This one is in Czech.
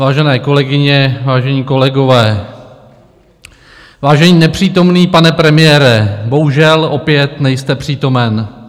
Vážené kolegyně, vážení kolegové, vážený nepřítomný pane premiére, bohužel opět nejste přítomen.